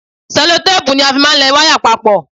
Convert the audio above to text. Ṣẹlotéèpù ni a fi máa ń lẹ wáyà papọ̀